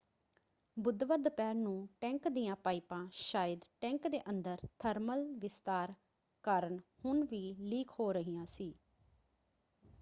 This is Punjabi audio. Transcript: ਬੁੱਧਵਾਰ ਦੁਪਹਿਰ ਨੂੰ ਟੈਂਕ ਦੀਆਂ ਪਾਈਪਾਂ ਸ਼ਾਇਦ ਟੈਂਕ ਦੇ ਅੰਦਰ ਥਰਮਲ ਵਿਸਤਾਰ ਕਾਰਨ ਹੁਣ ਵੀ ਲੀਕ ਹੋ ਰਹੀਆਂ ਸੀ।